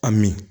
A min